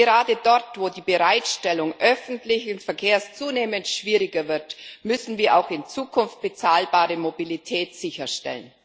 Gerade dort, wo die Bereitstellung öffentlichen Verkehrs zunehmend schwieriger wird, müssen wir auch in Zukunft bezahlbare Mobilität sicherstellen.